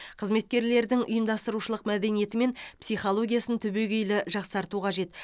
қызметкерлердің ұйымдастырушылық мәдениеті мен психологиясын түбегейлі жақсарту қажет